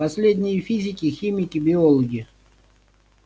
последние физики химики биологи